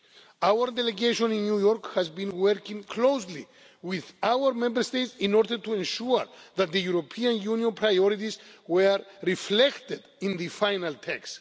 work. Our delegation in New York has been working closely with our Member States in order to ensure that the European Union's priorities were reflected in the final